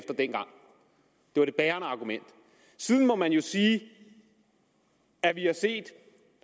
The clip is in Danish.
var det bærende argument siden må man jo sige at vi har set